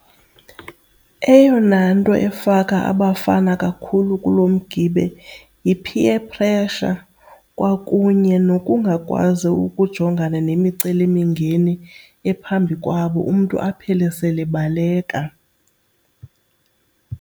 Eyona nto efaka abafana kakhulu kulo mgibe yi-peer pressure kwakunye nokungakwazi ukujongana nemicelimingeni ephambi kwabo, umntu aphele sele ebaleka.